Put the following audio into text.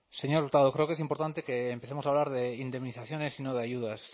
señor hurtado creo que es importante que empecemos a hablar de indemnizaciones y no de ayudas